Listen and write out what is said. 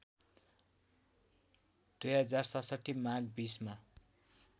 २०६७ माघ २०मा